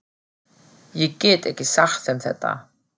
Ég get ekki sagt þeim þetta.